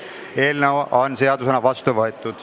Eelnõu on seadusena vastu võetud.